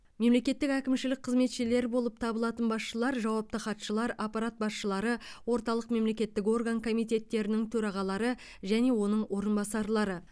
мемлекеттік әкімшілік қызметшілер болып табылатын басшылар жауапты хатшылар аппарат басшылары орталық мемлекеттік орган комитеттерінің төрағалары және оның орынбасарлары